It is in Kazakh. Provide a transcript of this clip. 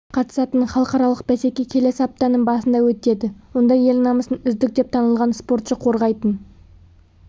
қатысатын халықаралық бәсеке келесі аптаның басында өтеді онда ел намысын үздік деп танылған спортшы қорғайтын